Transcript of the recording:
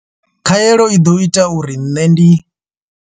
Khaelo i ḓo ita uri nṋe ndi.